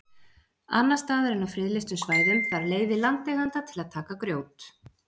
annars staðar en á friðlýstum svæðum þarf leyfi landeigenda til að taka grjót